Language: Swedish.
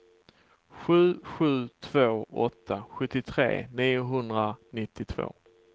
sju sju två åtta sjuttiotre niohundranittiotvå